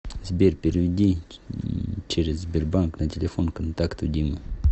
сбер переведи через сбербанк на телефон контакту дима